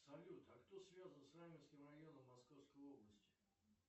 салют а кто связан с раменским районом московской области